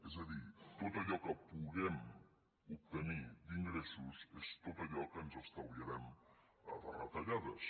és a dir tot allò que puguem obtenir d’ingressos és tot allò que ens estalviarem de retallades